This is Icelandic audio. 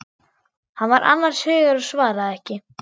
Hann var annars hugar og svaraði ekki.